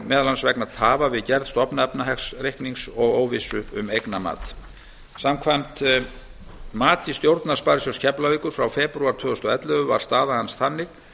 meðal annars vegna tafa við gerð stofnefnahagsreiknings og óvissu um eignamat samkvæmt mati stjórnar sparisjóðs keflavíkur frá febrúar tvö þúsund og ellefu var staða hans þannig